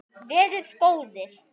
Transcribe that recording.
Verið góðir!